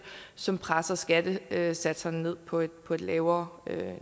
som presser skattesatserne ned på et på et lavere